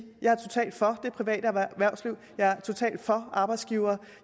jeg er totalt for det private erhvervsliv jeg er totalt for arbejdsgivere